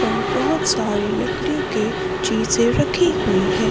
और ये बहुत सारी लकड़ियों के चीजें रखी हुई है।